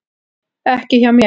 Ekki hjá mér.